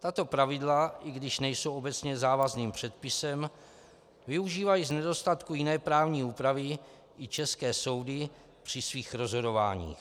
Tato pravidla, i když nejsou obecně závazným předpisem, využívají z nedostatku jiné právní úpravy i české soudy při svých rozhodováních.